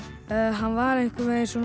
hann var einhvern veginn svona